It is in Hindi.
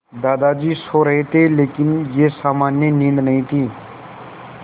दादाजी सो रहे थे लेकिन यह सामान्य नींद नहीं थी